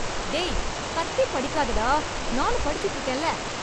டேய், கத்தி படிக்காதடா... நானும் படிச்சுட்டு இருக்கேன்ல...